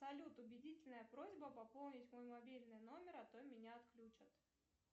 салют убедительная просьба пополнить мой мобильный номер а то меня отключат